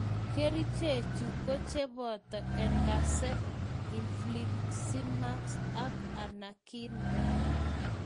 Kerichechu koo chebata etanercept , infliximab ak anakinra